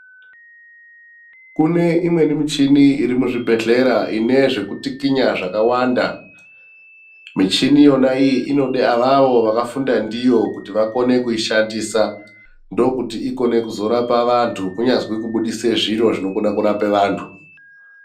Kune imweni michini iri muzvibhedhlera ine zvekutikinya zvakawanda. Michini yona iyi inode avawo vakafunda ndiyo kuti wakone kuishandisa. Ndokuti ikone kuzorapa vantu kunyazi kubudise zviro zvinokone kurapa vantu.